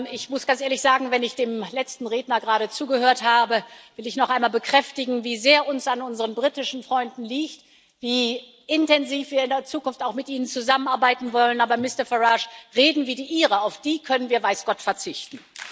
Ich muss ganz ehrlich sagen, wenn ich dem letzten Redner gerade zugehört habe, will ich noch einmal bekräftigen, wie sehr uns an unseren britischen Freunden liegt, wie intensiv wir in der Zukunft auch mit ihnen zusammenarbeiten wollen, aber Mister Farage, Reden wie die Ihre, auf die können wir weiß Gott verzichten.